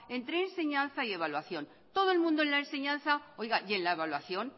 entre enseñanza y evaluación todo el mundo en la enseñanza oiga y en la evaluación